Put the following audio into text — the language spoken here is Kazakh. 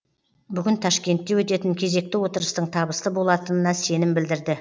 бүгін ташкентте өтетін кезекті отырыстың табысты болатынына сенім білдірді